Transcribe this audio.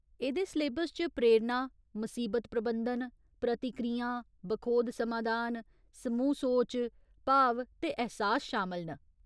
एह्दे सलेबस च प्रेरणा, मसीबत प्रबंधन, प्रतिक्रियां, बखोध समाधान, समूह् सोच, भाव ते ऐह्सास शामल न।